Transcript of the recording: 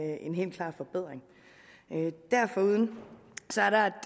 en helt klar forbedring derforuden